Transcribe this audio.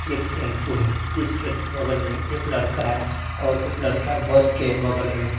एक टैम्पू है जिसके बगल में एक लड़का है और एक लड़का बस के बगल में --